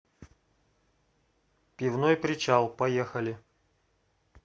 пивной причал поехали